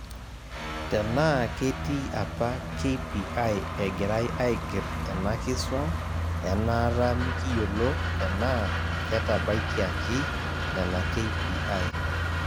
Tenaa ketii apa KPI egirai aigerr ena kisuam enaata mikiyolo tenaa ketabaikiaki nena KPI.